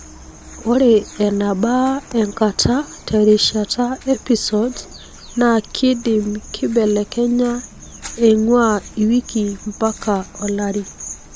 ore enabaa enkata terishata episodes na kindim kibelekenya eingua iwiki mpaka olari.